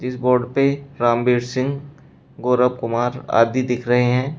इस बोर्ड पर रामवीर सिंह गौरव कुमार आदि दिख रहे हैं।